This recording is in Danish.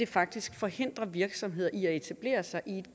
faktisk forhindrer virksomheder i at etablere sig i